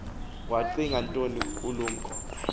wacinga ntoni ulumko